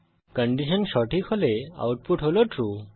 condition সঠিক হলে output হল ট্রু